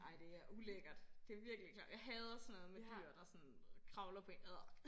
Ej det er ulækkert det er virkelig klamt jeg hader sådan noget med dyr der sådan kravler på én adr